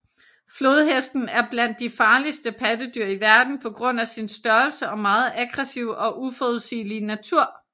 Flodhesten er blandt de farligste pattedyr i verden på grund af sin størrelse og meget aggressive og uforudsigelige natur